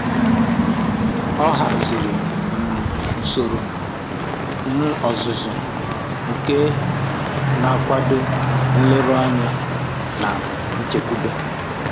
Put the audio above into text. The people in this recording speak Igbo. Ọ haziri um usoro um ọzụzụ nke na-akwado nleruanya na nchekwube